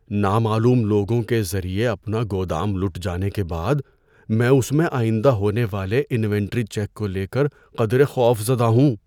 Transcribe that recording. نامعلوم لوگوں کے ذریعے اپنا گودام لُٹ جانے کے بعد میں اس میں آئندہ ہونے والے انوینٹری چیک کو لے کر قدرے خوف زدہ ہوں۔